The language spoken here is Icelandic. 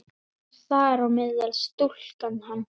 Þar á meðal stúlkan hans.